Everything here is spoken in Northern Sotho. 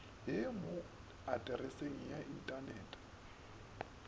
ye mo atreseng ya inthanete